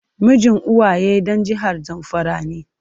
Mijin Uwaye dan jihar zamfara ne.